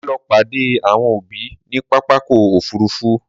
Màá lọ pàdé àwọn òbí ní pápákọ̀ òfúrufú.